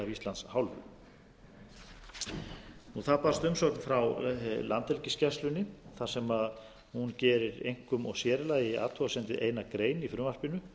íslands hálfu það barst umsögn frá landhelgisgæslunni þar sem hún gerir einkum og sér í lagi athugasemd við eina gein í frumvarpinu